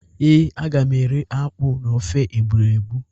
Ee, aga m eri akpụ na ofe egbụregbụ